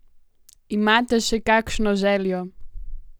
Imate še kakšno željo?